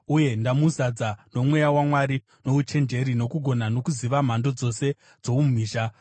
uye ndamuzadza noMweya waMwari, nouchenjeri, nokugona nokuziva mhando dzose dzoumhizha,